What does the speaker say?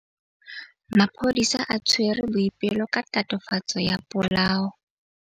Maphodisa a tshwere Boipelo ka tatofatsô ya polaô.